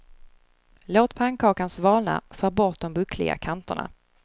Låt pannkakan svalna, skär bort de buckliga kanterna.